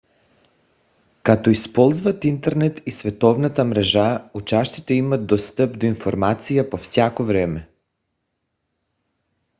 като използват интернет и световната мрежа учащите имат достъп до информация по всяко време